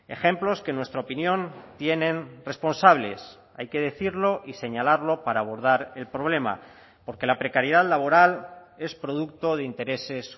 ejemplos que en nuestra opinión tienen responsables hay que decirlo y señalarlo para abordar el problema porque la precariedad laboral es producto de intereses